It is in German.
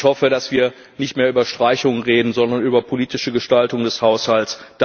Ich hoffe, dass wir nicht mehr über Streichungen reden, sondern über politische Gestaltung des Haushalts.